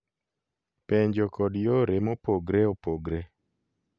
Penjo kod yore mopogre opogre